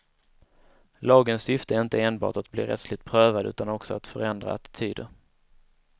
Lagens syfte är inte enbart att bli rättsligt prövad utan också att förändra attityder.